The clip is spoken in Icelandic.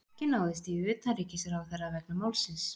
Ekki náðist í utanríkisráðherra vegna málsins